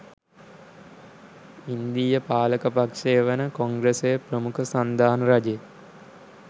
ඉන්දීය පාලක පක්ෂය වන කොංග්‍රසය ප්‍රමුඛ සන්ධාන රජය